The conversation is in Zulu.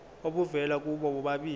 obuvela kubo bobabili